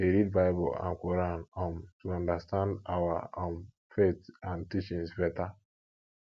we dey read bible and quran um to understand our um faith and teachings beta